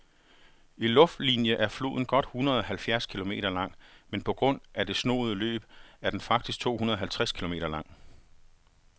I luftlinie er floden godt hundredeoghalvfjerds kilometer lang, men på grund af det snoede løb er den faktisk tohundredeoghalvtreds kilometer lang.